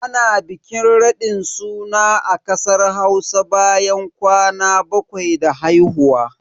Ana bikin raɗin suna a kasar Hausa bayan kwana bakwai da haihuwa.